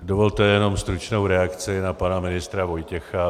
Dovolte jenom stručnou reakci na pana ministra Vojtěcha.